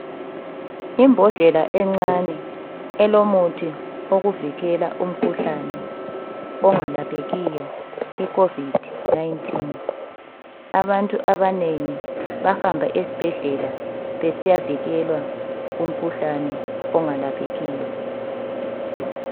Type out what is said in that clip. Imbodlela encane elomuthi wokuvikela umkhuhlane ongalaphekiyo iCovid 19. Abantu abanengi bahamba esibhedlela besiya vikelwa kumkhuhlane ongalaphekiyo.